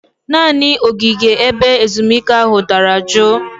Naanị ogige ebe ezumike ahụ dara juu